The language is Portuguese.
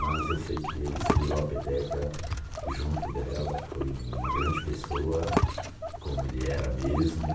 Mas, eu sei que ele segurou a peteca junto dela, foi uma grande pessoa, como ele era mesmo.